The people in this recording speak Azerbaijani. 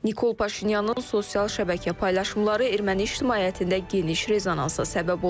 Nikol Paşinyanın sosial şəbəkə paylaşımları erməni ictimaiyyətində geniş rezonansa səbəb olub.